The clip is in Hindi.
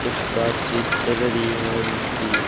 कुछ बातचीत चल रही है उनकी।